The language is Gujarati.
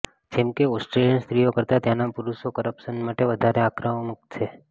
જેમ કે ઓસ્ટ્રેલિયન સ્ત્રીઓ કરતાં ત્યાંના પુરુષો કરપ્શન માટે વધારે આક્રમક છે